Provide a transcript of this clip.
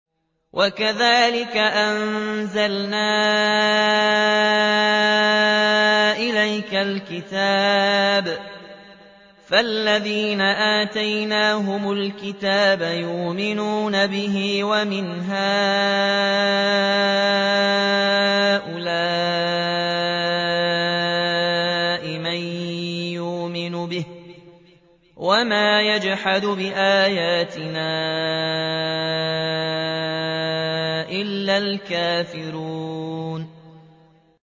وَكَذَٰلِكَ أَنزَلْنَا إِلَيْكَ الْكِتَابَ ۚ فَالَّذِينَ آتَيْنَاهُمُ الْكِتَابَ يُؤْمِنُونَ بِهِ ۖ وَمِنْ هَٰؤُلَاءِ مَن يُؤْمِنُ بِهِ ۚ وَمَا يَجْحَدُ بِآيَاتِنَا إِلَّا الْكَافِرُونَ